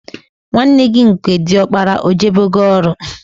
Nwanne gị nke diọkpara ọ jebego ọrụ?